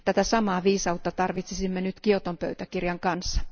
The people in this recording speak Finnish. Tätä samaa viisautta tarvitsisimme nyt Kioton pöytäkirjan tapauksessa.